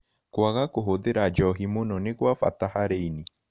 Kwaga kũhũthĩra njohĩ mũno nĩ gwa bata harĩ wa ĩnĩ